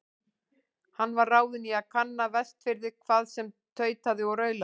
Hann var ráðinn í að kanna Vestfirði, hvað sem tautaði og raulaði.